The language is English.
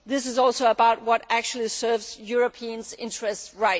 it is also about what actually serves Europeans' interests properly.